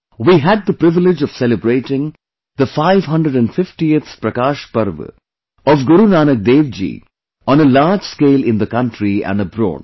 We had the privilege of celebrating the 550th Prakash Parv of Guru Nanak DevJi on a large scale in the country and abroad